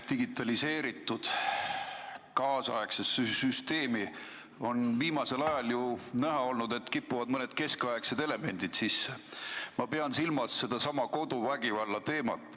Viimasel ajal on näha olnud, et meie moodsasse digitaliseeritud süsteemi kipuvad mõned keskaegsed elemendid sisse, ma pean silmas sedasama koduvägivallateemat.